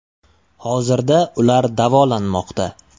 Hozirda ular davolanmoqda.